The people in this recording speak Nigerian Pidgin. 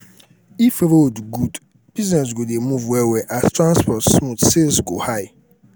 if road good business go dey move well as transport smooth sales go high